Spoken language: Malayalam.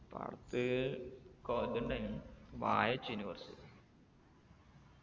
പാടത്ത് കൊ ഇതുണ്ടായിന് വാഴെച്ചിന് കൊറച്ച്